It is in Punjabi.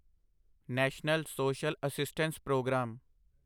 national social assistance programme